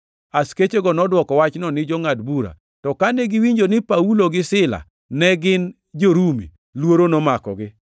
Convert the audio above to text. Askechego nodwoko wachno ni jongʼad bura, to kane giwinjo ni Paulo gi Sila ne gin jo-Rumi, luoro nomakogi.